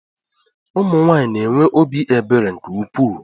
Ụmụnwaanyị na-enwe obi ebere nke ukwuu